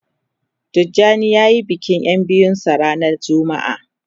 Tijani ya yi bikin ya biyun sa ranan jumma'a